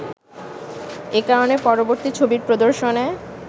এ কারণে পরবর্তী ছবির প্রদর্শনে